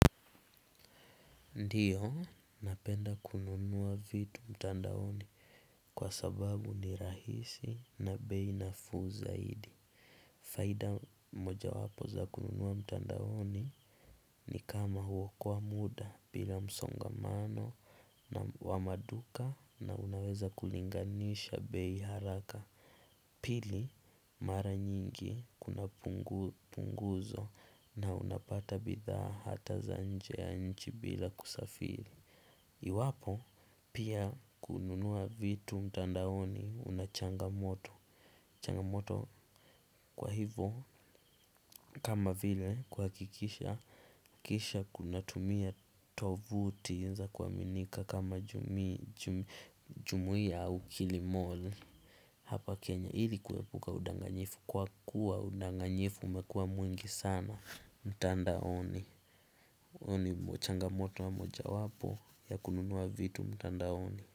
Ndio, napenda kununuwa vitu mtandaoni. Kwa sababu ni rahisi na bei nafuu zaidi. Faida mmoja wapo za kununua mtandaoni ni kama huo koa muda, bila msongamano na wa maduka na unaweza kulinganisha bei haraka. Pili, mara nyingi, kunapunguzwa na unapata bidhaa hata za nje ya nchi bila kusafiri. Iwapo, pia, kununua vitu mtandaoni unachanga moto. Changamoto kwa hivo, kama vile, kwa akikisha kisha kunatumia tovuti nza kwaminika kama jumuia au kilimol. Hapa Kenya ilikuwepuka udanganyifu kwa kuwa udanganyifu umekuwa mwingi sana. Mtandaoni, huo ni changamoto wa moja wapo ya kununua vitu mtandaoni.